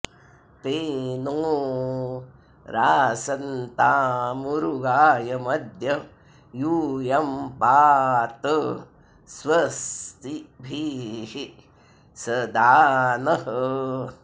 ते नो॑ रासन्तामुरुगा॒यम॒द्य यू॒यं पा॑त स्व॒स्तिभिः॒ सदा॑ नः